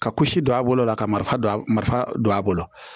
Ka kusi don a bolo la kari don marifa don a bolo